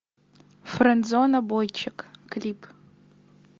френдзона бойчик клип